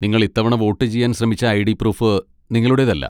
നിങ്ങൾ ഇത്തവണ വോട്ട് ചെയ്യാൻ ശ്രമിച്ച ഐ.ഡി. പ്രൂഫ് നിങ്ങളുടേതല്ല.